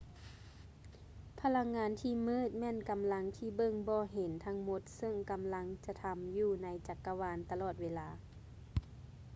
ພະລັງງານທີ່ມືດແມ່ນກຳລັງທີ່ເບິ່ງບໍ່ເຫັນທັງໝົດເຊິ່ງກຳລັງກະທໍາຢູ່ໃນຈັກກະວານຕະຫຼອດເວລາ